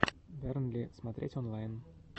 бернли смотреть онлайн